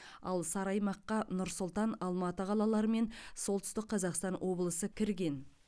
ал сары аймаққа нұр сұлтан алматы қалалары мен солтүстік қазақстан облысы кірген